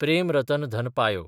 प्रेम रतन धन पायो